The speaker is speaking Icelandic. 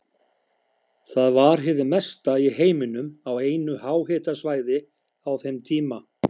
Það var hið mesta í heiminum á einu háhitasvæði á þeim tíma.